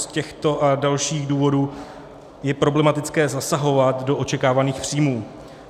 Z těchto a dalších důvodů je problematické zasahovat do očekávaných příjmů.